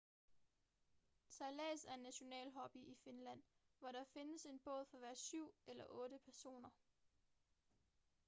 sejlads er en national hobby i finland hvor der findes én båd for hver syv eller otte personer